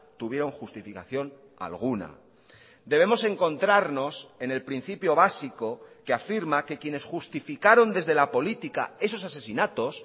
tuvieron justificación alguna debemos encontrarnos en el principio básico que afirma que quienes justificaron desde la política esos asesinatos